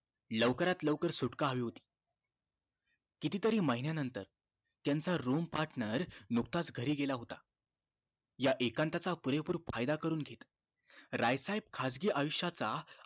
लवकरात लवकर सुटका हवी होती किती तरी महिन्या नंतर त्यांचा room partner नुकताच घरी गेला होता या एकांताचा पुरेपूर फायदा करून घेणं राय साहेब खासगी आयुष्य चा